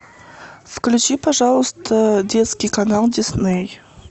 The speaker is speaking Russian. включи пожалуйста детский канал дисней